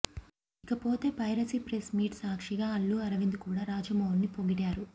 ఇకపోతే piracy press meet సాక్షిగా అల్లు అరవింద్ కూడా రాజమౌళిని పొగిడారు